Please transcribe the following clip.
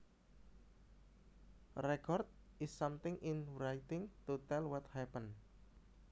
A record is something in writing to tell what happened